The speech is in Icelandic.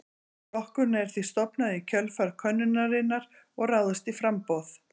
Flokkurinn er því stofnaður í kjölfar könnunarinnar og ráðist í framboð.